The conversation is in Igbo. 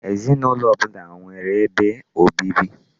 Ezinụlọ ọbụla nwere ebe obibi.